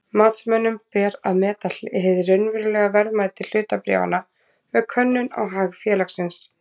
Matsmönnum ber að meta hið raunverulega verðmæti hlutabréfanna með könnun á hag félagsins.